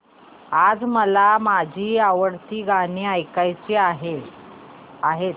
आज मला माझी आवडती गाणी ऐकायची आहेत